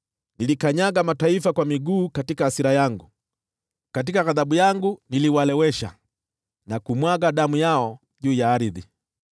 Nilikanyaga mataifa kwa miguu katika hasira yangu, katika ghadhabu yangu niliwalewesha, na kumwaga damu yao juu ya ardhi.”